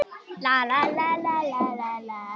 Eva: Og hvað finnst þér?